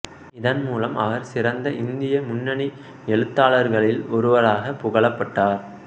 இதன் மூலம் அவர் ஒரு சிரந்த இந்திய முன்னனி எழுத்தாளர்கைளீல் ஒருவராக புகழப்பட்டார்